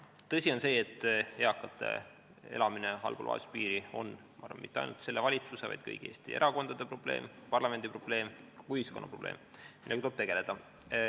Tõsi on see, et eakate elamine allpool vaesuspiiri ei ole mitte ainult selle valitsuse, vaid kõigi Eesti erakondade probleem, parlamendi probleem, kogu ühiskonna probleem, millega tuleb tegeleda.